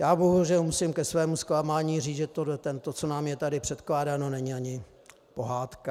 Já bohužel musím ke svému zklamání říct, že to, co je nám tady předkládáno, není ani pohádka.